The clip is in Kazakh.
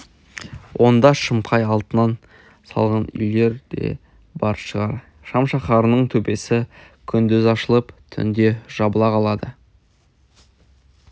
онда шымқай алтыннан салған үйлер де бар шығар шам шаһарының төбесі күндіз ашылып түнде жабылып қалады